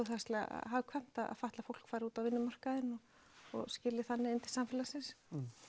hagkvæmt að fatlað fólk fari út á vinnumarkaðinn og skili þannig inn til samfélagsins